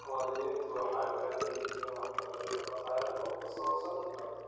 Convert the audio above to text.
Muwaadiniintu waxay u baahan yihiin waxbarasho dhaqaale oo ku saabsan dhulka.